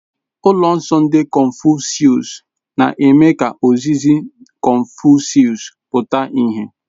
Ụlọ nsọ ndị confucius na-eme ka ozizi Confucius pụta ìhè.